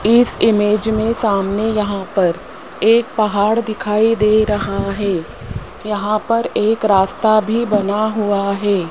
इस इमेज में सामने यहां पर एक पहाड़ दिखाई दे रहा है यहां पर एक रास्ता भी बना हुआ है।